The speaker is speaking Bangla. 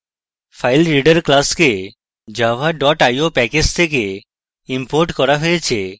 filereader class the java dot io package থেকে imported করা হয়েছে